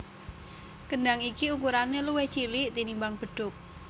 Kendhang iki ukurané luwih cilik tinimbang bedhug